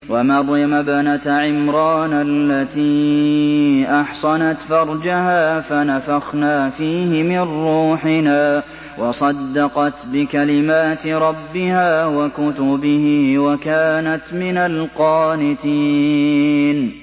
وَمَرْيَمَ ابْنَتَ عِمْرَانَ الَّتِي أَحْصَنَتْ فَرْجَهَا فَنَفَخْنَا فِيهِ مِن رُّوحِنَا وَصَدَّقَتْ بِكَلِمَاتِ رَبِّهَا وَكُتُبِهِ وَكَانَتْ مِنَ الْقَانِتِينَ